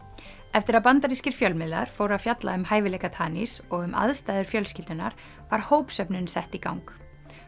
eftir að bandarískir fjölmiðlar fóru að fjalla um hæfileika og um aðstæður fjölskyldunnar var sett í gang